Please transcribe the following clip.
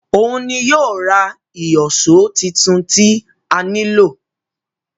Òun ni yóò ra ìyọ̀ṣó titun tí a nílò